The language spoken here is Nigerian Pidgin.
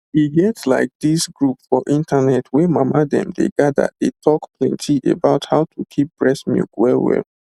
e get like this group for internet wey mama dem dey gather dey talk plenty about how to keep breast milk well well